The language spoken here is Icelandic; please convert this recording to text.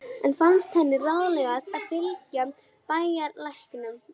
Enn fannst henni ráðlegast að fylgja bæjarlæknum.